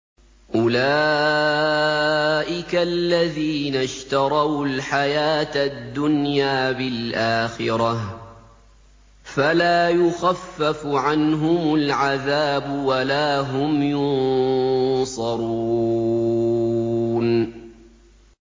أُولَٰئِكَ الَّذِينَ اشْتَرَوُا الْحَيَاةَ الدُّنْيَا بِالْآخِرَةِ ۖ فَلَا يُخَفَّفُ عَنْهُمُ الْعَذَابُ وَلَا هُمْ يُنصَرُونَ